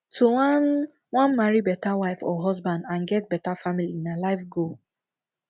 to wan wan marry better wife or husband and get bettr family na life goal